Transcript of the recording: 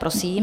Prosím.